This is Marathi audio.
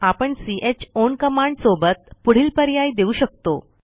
आपण चाउन कमांड सोबत पुढील पर्याय देऊ शकतो